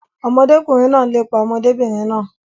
Ọmọdékùnrin náà n lépa ọmọdébìnrin náà.